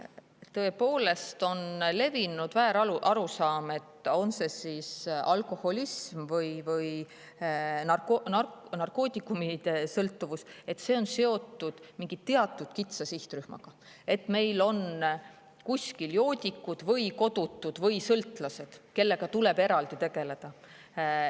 Tõepoolest on levinud väärarusaam, et on see siis alkoholism või narkootikumisõltuvus, see on seotud mingi teatud kitsa sihtrühmaga, et meil on kuskil joodikud või kodutud või sõltlased, kellega tuleb eraldi tegeleda.